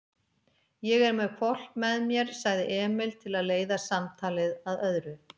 Ég er með hvolp með mér, sagði Emil til að leiða samtalið að öðru.